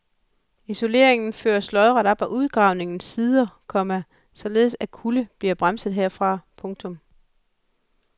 Isoleringen føres lodret op ad udgravningens sider, komma således at kulde bliver bremset herfra. punktum